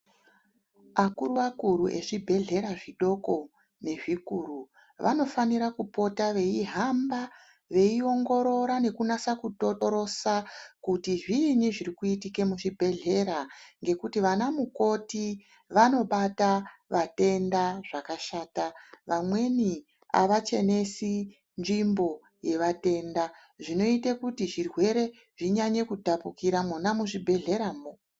Akuruakuru vezvibhedhleya zvidoko nezvikuru vanofanira kupota vei hamba veiongorira nekunasa kutotorosa kuti zviinyi zvirikuitike muzvibhedhleya ngekuti vana mukoti vanobata vatenda zvakashata. Vamweni hava chenesi nzvimbo yevatenda inoite kuti zvirwere zvinyanye kutapukira mwona muzvi bhedhleramwo.